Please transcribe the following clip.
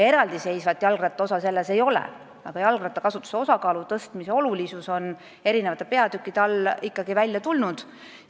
Eraldiseisvat osa seal jalgrattakasutuse kohta ei ole, aga selle osakaalu tõstmise olulisus on eri peatükkide all ikkagi välja tulnud.